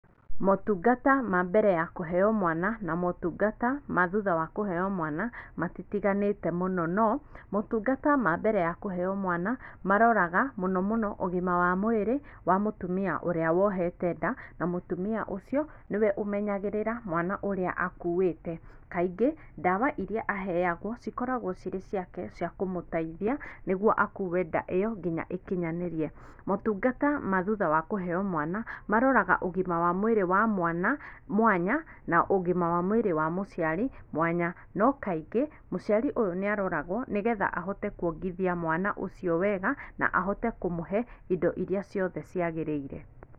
Motungata ma mbere ya kũheo mwana na motungata ma thutha wa kũheo mwana matitiganĩte mũno no motungata ma mbere ya kũheo mwana maroraga mũno mũno ũgima wa mwĩrĩ wa mũtumia ũrĩa wohete nda na mũtumia ũcio nĩwe ũmenyagĩrĩra mwana ũrĩa akuuĩte. Kaingĩ, ndawa iria aheagwo cikoragwo cirĩ ciake cia kũmũteithia nĩguo akuue nda ĩyo nginya ĩkinyanĩrie. Motungata ma thutha wa kũheo mwana maroraga ũgima wa mwĩrĩ wa mwana mwanya na ũgima wa mwĩrĩ wa mũciari mwanya no kaingĩ, mũciari ũyũ nĩ aroragwo nĩgetha ahote kũongithia mwana ũcio wega na ahote kũmũhe indo iria ciothe ciagĩrĩire.